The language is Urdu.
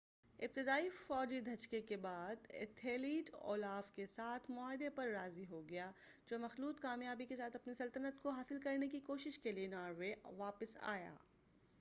ابتدائی فوجی دھچکے کے بعد ایتھلیڈ اولاف کے ساتھ معاہدے پر راضی ہو گیا جو مخلوط کامیابی کے ساتھ اپنی سلطنت کو حاصل کرنے کی کوشش کے لئے ناروے واپس آیا